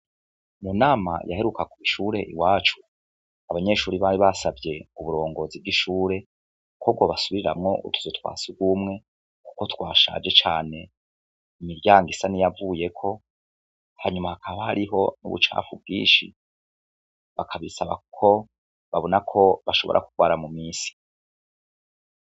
Mu nama yaheruka kw’ishure i wacu abanyeshuri bari basavye u burongozi bw'ishure ko bwo basubiriramwo utuzu twa sugumwe, kuko twashaje cane imiryango isa ni yavuyeko hanyuma hakaba hariho n'ubucapfu bwinshi bakabisaba kuko babona ko bashobora kurwara mu misi.